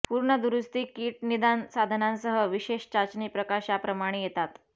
पूर्ण दुरुस्ती किट निदान साधनांसह विशेष चाचणी प्रकाशाप्रमाणे येतात